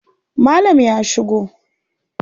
Malam ya shigo.